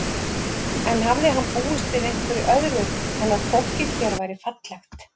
En hafði hann búist við einhverju öðru en að fólkið hér væri fallegt?